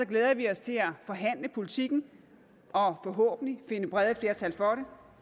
glæder vi os til at forhandle politikken og forhåbentlig finde brede flertal for